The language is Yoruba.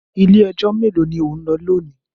Ilé-ẹjọ́ mélòó ni ò ń lọ lónìí?